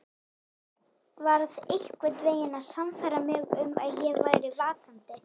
Varð einhvern veginn að sannfæra mig um að ég væri vakandi.